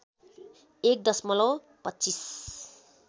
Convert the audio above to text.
एक दशमलव २५